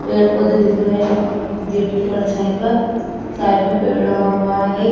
पेड़ पौधे दिख रहे हैं गेट की परछाई पर साइड में पेड़ लगा हुआ है एक।